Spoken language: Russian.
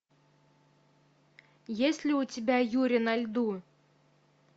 есть ли у тебя юри на льду